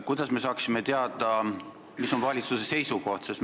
Kuidas me saaksime teada, mis on valitsuse seisukoht?